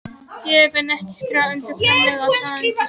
Ég hef enn ekki skrifað undir framlengingu á samningi mínum.